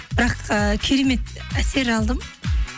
бірақ ы керемет әсер алдым